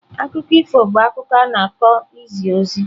Akụkọ ifo bụ akụkọ a na-akọ izi ozi.